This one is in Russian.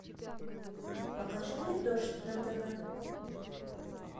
покажи мне дождь на тв